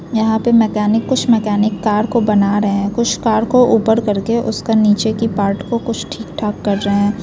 यहाँ पे मेकेनिक कुछ मेकेनिक कार को बना रहैं हैं कुछ कार को ऊपर करके उसके नीचे की पार्ट को कुछ ठीक-ठीक कर रहैं हैं।